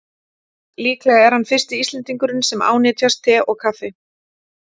Líklega er hann fyrsti Íslendingurinn sem ánetjast te og kaffi.